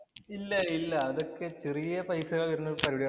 ഇല്ല ഇല്ല. അതൊക്കെ ചെറിയ പൈസ വരുന്ന പരിപാടിളാ.